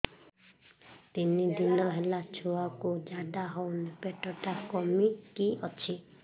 ତିନି ଦିନ ହେଲା ଛୁଆକୁ ଝାଡ଼ା ହଉନି ପେଟ ଟା କିମି କି ଅଛି